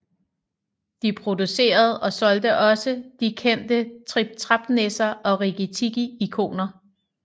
De producerede og solgte også de kendte Trip Trap Nisser og Rikki Tikki Ikoner